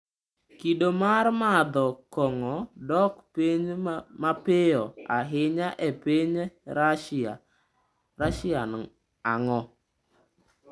Kido mar madho kong’o dok piny mapiyo ahinya e piny Rasia,n ang’o?